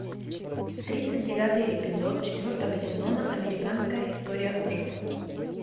тридцать девятый эпизод четвертого сезона американская история ужасов